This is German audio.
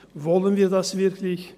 Wollen wir das wirklich?